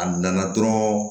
A nana dɔrɔn